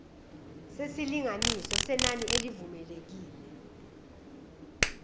nesilinganiso senani elivumelekile